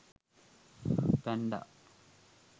panda